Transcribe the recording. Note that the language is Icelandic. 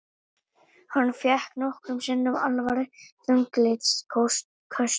Hann fékk nokkrum sinnum alvarleg þunglyndisköst.